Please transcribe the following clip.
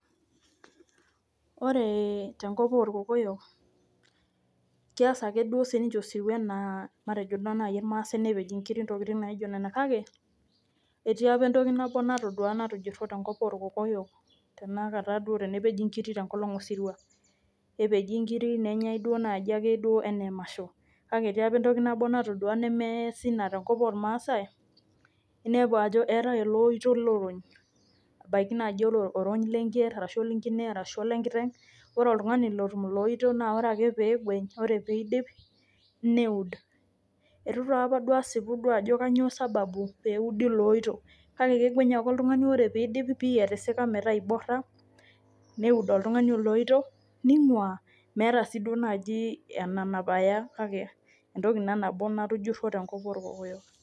Ore tenkop orkokoyok keyas ake duo sii ninche osirua enaa matejoo naa naji irmasai nepej inkirik intokitin naji naijo nena. Kake etii apa entoki nabo natooduo natujuruo tenkop orkokoyok tenakata duo tenepeji inkiri tenkolong' osirua. Epeji nkirik nenyae naji duake enee emasho, kake etii apaa entoki nabo natoduo nemeesi ina tenkop ormasae inepeu ajo eeta oloito looj, ebaki naji naa oronyi lenker arashu lenkine arashu ole nkiteng'. Ore oltung'ani ooj ilo oito naa ore ake pegueny ore pidip neud. Eitu taa apa duo asipu ajo kainyoo sababu peudi ele oito, kake kegueny ake oltung'ani ore pidip meeta etisika meeta ibora neud oltung'ani ele oito niingua , meeta si duo naaji enanap aya kake antoke naa nabo natujuruo tenkop orkokoyok.